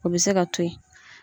O bɛ se ka to ye.